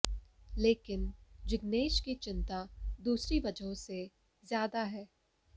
लेकिन जिग्नेश की चिंता दूसरी वजहों से ज़्यादा है